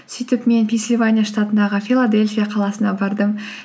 сөйтіп мен пенсильвания штатындағы филадельфия қаласына бардым